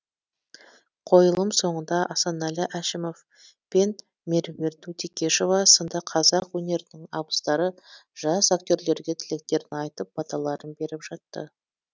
қойылым соңында асанәлі әшімов пен мер ерт текешова сынды қазақ өнерінің абыздары жас актерлерге тілектерін айтып баталарын беріп жатты